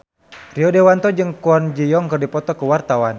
Rio Dewanto jeung Kwon Ji Yong keur dipoto ku wartawan